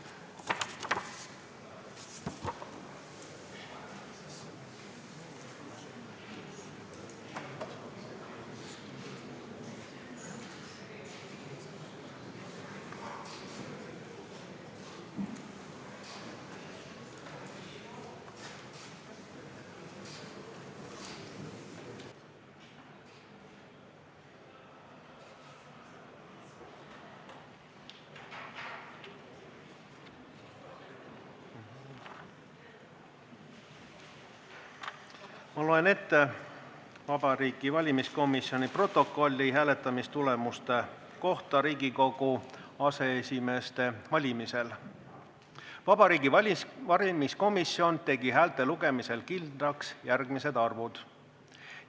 Ma loen ette Vabariigi Valimiskomisjoni protokolli hääletamistulemuste kohta Riigikogu aseesimeeste valimisel: "Vabariigi Valimiskomisjon tegi häälte lugemisel kindlaks järgmised arvud.